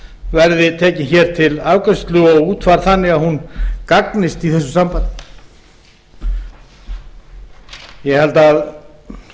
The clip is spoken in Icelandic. verði tekið hér til afgreiðslu og útfærð þannig að hún gagnist í þessu sambandi ég held að